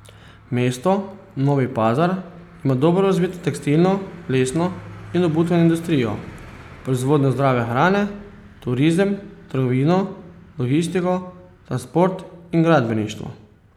Mesto Novi Pazar ima dobro razvito tekstilno, lesno in obutveno industrijo, proizvodnjo zdrave hrane, turizem, trgovino, logistiko, transport in gradbeništvo.